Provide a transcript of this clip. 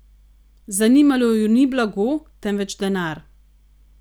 Zanimalo ju ni blago, temveč denar.